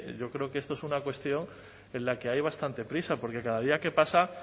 yo creo que esto es una cuestión en la que hay bastante prisa porque cada día que pasa